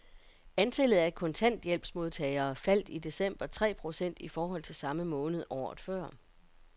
Antallet af kontanthjælpsmodtagere faldt i december tre procent i forhold til samme måned året før.